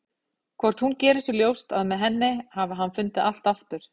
Hvort hún geri sér ljóst að með henni hafi hann fundið allt aftur?